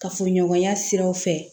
Kafoɲɔgɔnya siraw fɛ